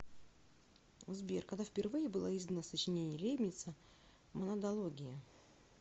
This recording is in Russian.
сбер когда впервые было издано сочинение лейбница монадология